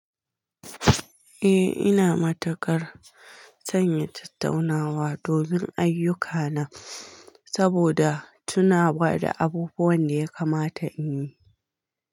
Eh, ina matuƙar sanya tattaunawa domin ayyukana saboda tunawa da abubuwan da ya kamata in yi.